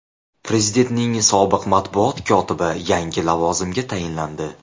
Prezidentning sobiq matbuot kotibi yangi lavozimga tayinlandi.